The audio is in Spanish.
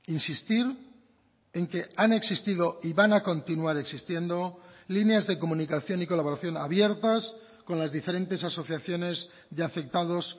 insistir en que han existido y van a continuar existiendo líneas de comunicación y colaboración abiertas con las diferentes asociaciones de afectados